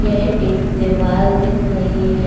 यह एक दीवाल दिख रही है।